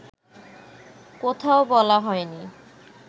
কোথাও বলা হয়নি